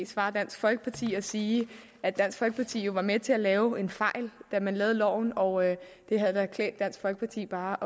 svare dansk folkeparti og sige at dansk folkeparti jo var med til at lave en fejl da man lavede loven og at det havde klædt dansk folkeparti bare